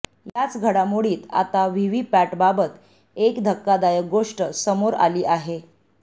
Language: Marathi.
याच घडामोडीत आता व्हीव्हीपॅटबाबत एक धक्कादायक गोष्ट समोर आली आहे